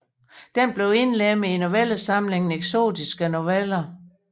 Den blev indlemmet i novellesamlingen Eksotiske Noveller